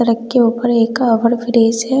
सड़क के ऊपर एक का ओवर ब्रिज है।